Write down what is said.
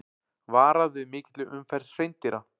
Varað við mikilli umferð hreindýra